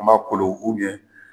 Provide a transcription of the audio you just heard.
An ma kolo